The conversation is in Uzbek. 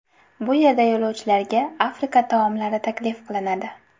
Bu yerda yo‘lovchilarga Afrika taomlari taklif qilinadi.